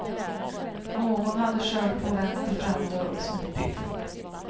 Någon hade kört på vänster framdörr och smitit.